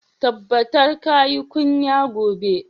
Tabbatar ka yi kunya gobe!